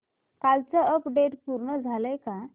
कालचं अपडेट पूर्ण झालंय का